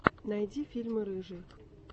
найди фильмы рыжей